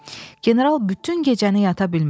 General bütün gecəni yata bilmədi.